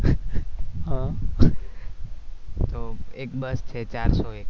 તો એક બસ છે ચાર સો એક